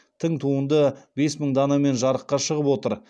тың туынды бес мың данамен жарыққа шығып отыр